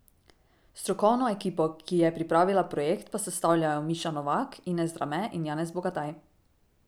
Strokovno ekipo, ki je pripravila projekt, pa sestavljajo Miša Novak, Ines Drame in Janez Bogataj.